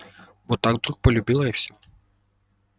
вот так вдруг полюбила и все